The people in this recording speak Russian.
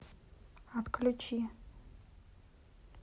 отключи